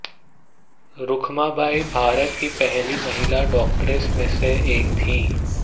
रुखमाबाई भारत की पहली महिला डॉक्टर्स में से एक थीं